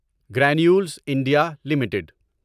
granules India limited